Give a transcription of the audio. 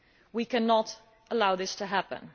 We cannot allow this to happen.